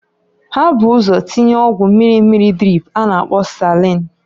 Ha bu ụzọ tinya ọgwụ mmiri mmiri drip a na-akpo salain.